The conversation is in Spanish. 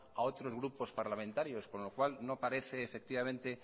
a otros grupos parlamentarios con lo cual no parece efectivamente